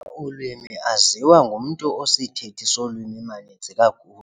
olwimi aziwa ngumntu osisithethi solwimi maninzi kakhulu.